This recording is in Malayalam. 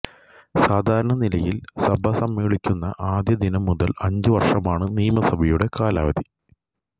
സാധാരണ നിലയിൽ സഭ സമ്മേളിക്കുന്ന ആദ്യം ദിനം മുതൽ അഞ്ചു വർഷമാണ് നിയമസഭയുടെ കാലാവധി